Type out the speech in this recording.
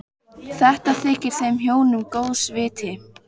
Þetta þykir þeim hjónum góðs viti.